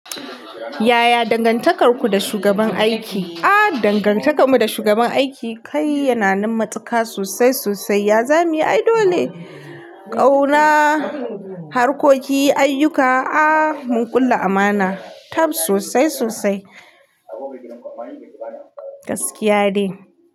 Yaya dangantakarku da shugaban aiki? Ah, dangantakarmu da shugaban aiki kai yana nan matsaka sosai sosai. Ya zamiyi aidole ne. Kauna, harkoki, ayyuka. Ah, mun kulla amana. Tab sosai sosai. Gaskiya ne.